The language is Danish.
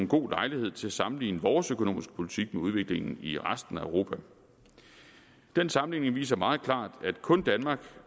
god lejlighed til at sammenligne vores økonomiske politik med udviklingen i resten af europa den sammenligning viser meget klart at kun danmark